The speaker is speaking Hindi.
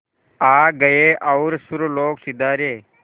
आ गए और सुरलोक सिधारे